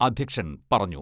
അധ്യക്ഷൻ പറഞ്ഞു.